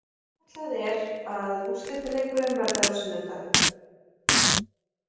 Áætlað er að úrslitaleikurinn verði á sunnudag.